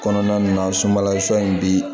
Kɔnɔna na sunbalasun in bi